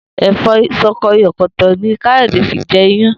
È̩fó̩ s̩o̩ko̩yò̩kò̩tò̩ ni Káyò̩dé fi je̩ iyán